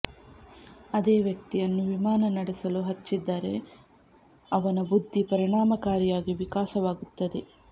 ಅದೇ ವ್ಯಕ್ತಿಯನ್ನು ವಿಮಾನ ನಡೆಸಲು ಹಚ್ಚಿದರೆ ಅವನ ಬುದ್ಧಿ ಪರಿಣಾಮಕಾರಿಯಾಗಿ ವಿಕಾಸವಾಗುತ್ತದೆ